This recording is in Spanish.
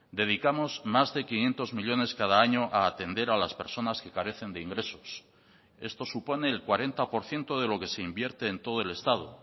dedicamos más de quinientos millónes cada año a atender a las personas que carecen de ingresos esto supone el cuarenta por ciento de lo que se invierte en todo el estado